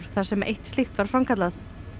þar sem eitt slíkt var framkallað